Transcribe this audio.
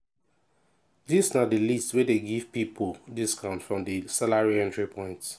dis na di list wey dey give pipo discounts from di salary entry points.